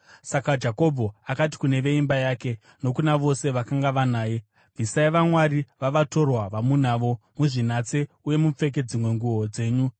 Saka Jakobho akati kune veimba yake nokuna vose vakanga vanaye, “Bvisai vamwari vavatorwa vamunavo, muzvinatse uye mupfeke dzimwe nguo dzenyu.